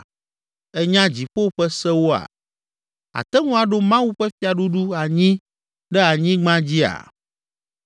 Ènya dziƒo ƒe sewoa? Àte ŋu aɖo Mawu ƒe fiaɖuɖu anyi ɖe anyigba dzia?